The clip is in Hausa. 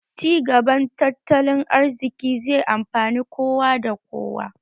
Ci gaban tattalin arziki zai amfani kowa da kowa